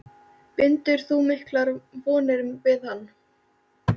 Bindur þú miklar vonir við hann?